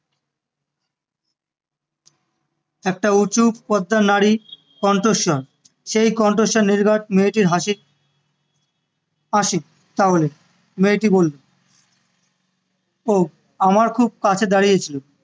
একটা উঁচু নারী কণ্ঠস্বর সেই কণ্ঠস্বর নির্ঘাত মেয়েটির হাঁসি আসি তাহলে মেয়েটি বললো ও আমার খুব কাছে দাঁড়িয়ে ছিল